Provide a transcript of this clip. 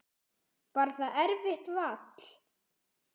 Var það erfitt vall?